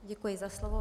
Děkuji za slovo.